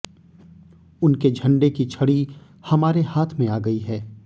उनके झंडे की छड़ी हमारे हाथ में आ गई है